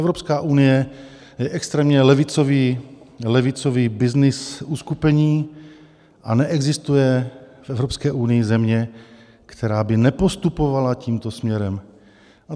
Evropská unie je extrémně levicový byznys uskupení a neexistuje v Evropské unii země, která by nepostupovala tímto směrem.